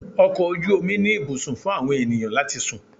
Ọkọ̀ ojú omi ní ibùsùn fún àwọn ènìyàn láti sùn.